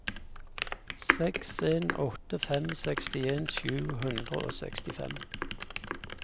seks en åtte fem sekstien sju hundre og sekstifem